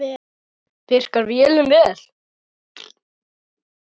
Virkar vélin vel?